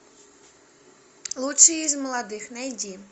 лучшие из молодых найди